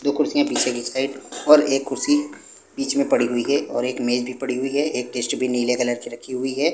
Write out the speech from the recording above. दो कुर्सियां पीछे की साइड और एक कुर्सी बीचमें पड़ी हुई है और एक मेज भी पड़ी हुई है एक डस्टबिन नीले कलर की रखी हुई है।